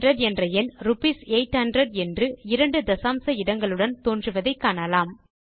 800 என்ற எண் ரூப்பீஸ் 800 என்று 2 தசாம்ச இடங்களுடன் தோன்றுவதை காணலாம்